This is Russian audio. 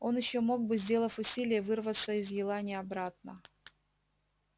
он ещё мог бы сделав усилие вырваться из елани обратно